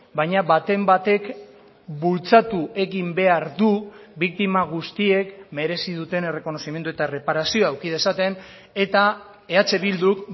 baina baten batek bultzatu egin behar du biktima guztiek merezi duten errekonozimendu eta erreparazioa eduki dezaten eta eh bilduk